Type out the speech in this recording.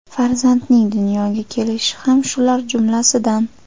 Farzandining dunyoga kelishi ham shular jumlasidan.